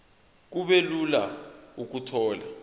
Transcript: kube lula ukuthola